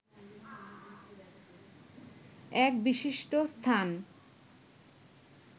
এক বিশিষ্ট স্থান